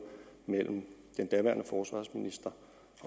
mellem den daværende forsvarsminister